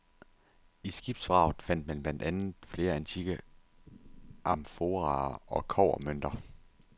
I skibsvraget fandt man blandt andet flere antikke amforaer og kobbermønter.